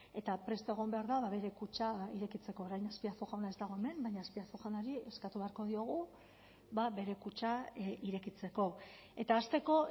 eta prest egon behar da bere kutxa irekitzeko orain azpiazu jauna ez dago hemen baina azpiazu jaunari eskatu beharko diogu bere kutxa irekitzeko eta hasteko